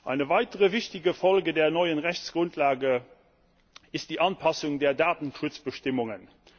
Eine weitere wichtige Folge der neuen Rechtsgrundlage ist die Anpassung der Datenschutzbestimmungen.